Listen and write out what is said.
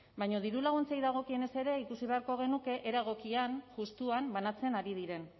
baina diru laguntzei dagokienez ere ikusi beharko genuke era egokian justuan banatzen ari diren